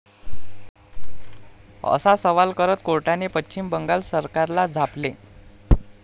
असा सवाल करत कोर्टाने पश्चिम बंगाल सरकारला झापले.